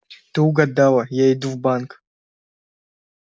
ты угадала я иду в банк